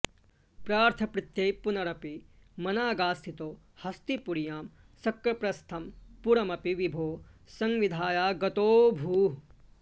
पार्थप्रीत्यै पुनरपि मनागास्थितो हस्तिपुर्यां शक्रप्रस्थं पुरमपि विभो संविधायागतोऽभूः